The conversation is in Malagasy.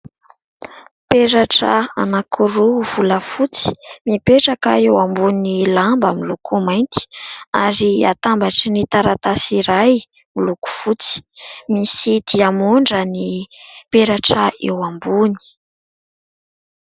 Peratra anankiroa volafotsy mipetraka eo ambony lamba miloko mainty ary atambatry ny taratasy iray miloko fotsy. Misy diamondra ny peratra eo ambony.